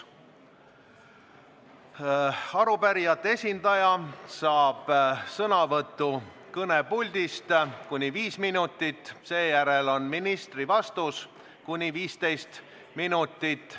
Arupärijate esindaja sõnavõtt kõnepuldist võib olla kuni 5 minutit, seejärel on ministri vastus kuni 15 minutit.